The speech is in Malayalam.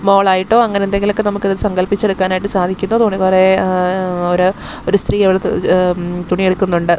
മോളായിട്ടോ അങ്ങനെ എന്തെങ്കിലുമൊക്കെ നമുക്ക് സങ്കൽപ്പിച്ച് എടുക്കാൻ ആയിട്ട് സാധിക്കുന്നു അത് പോലെ വേറെ ഏഹ ഒരു സ്ത്രീ ഏത് ഒരു തുണി എടുക്കുന്നുണ്ട്.